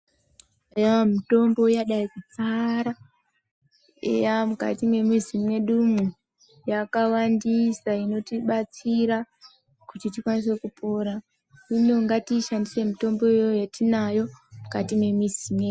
Eya mitombo yadai kudzara mukati mwemizi mwedumwo yakawandisa inotibatsira kuti tikasire kupora hino ngatiishandise mitombo iyo yatinayo mukati mwemuzi mwedu.